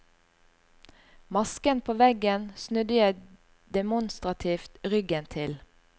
Masken på veggen snudde jeg demonstrativt ryggen til.